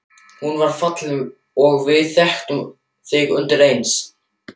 Hún var falleg og við þekktum þig undireins.